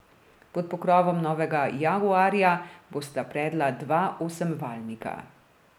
Pod pokrovom novega jaguarja bosta predla dva osemvaljnika.